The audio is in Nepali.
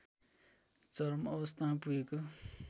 चरम अवस्थामा पुगेको